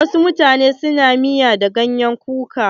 Wasu mutane na miya da ganyen kuka.